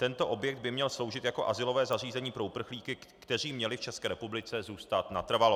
Tento objekt by měl sloužit jako azylové zařízení pro uprchlíky, kteří měli v České republice zůstat natrvalo.